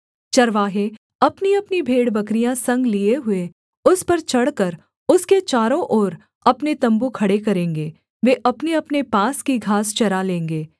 चरवाहे अपनीअपनी भेड़बकरियाँ संग लिए हुए उस पर चढ़कर उसके चारों ओर अपने तम्बू खड़े करेंगे वे अपनेअपने पास की घास चरा लेंगे